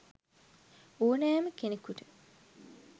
ඕනෑම කෙනකුට